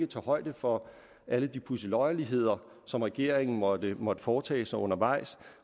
tage højde for alle de pudseløjerligheder som regeringen måtte måtte foretage sig undervejs